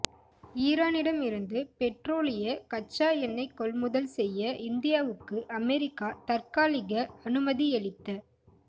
ஈரானிடமிருந்து பெற்றோலிய கச்சா எண்ணெய் கொள்முதல் செய்ய இந்தியாவுக்கு அமெரிக்கா தற்காலிக அனுமதியளித்த